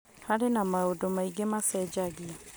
Harĩ na maũndũ maingĩ macenjagia .